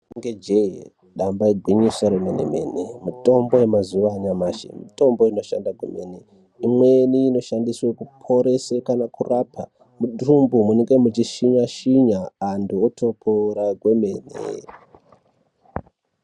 Rinenge jee nyamba igwinyiso remene mene, mitombo yemazuwa anyamashi mitombo ino shanda kwemene. Imweni ino shandiswe kuporese kana kurapa mundumbu munenge muchishinya-shinya antu otopora kwemene.